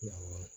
Awɔ